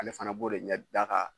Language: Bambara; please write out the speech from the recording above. Ale fana b'o de ɲɛ da ka